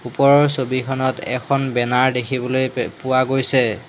ওপৰৰ ছবিখনত এখন বেনাৰ দেখিবলৈ পে পোৱা গৈছে।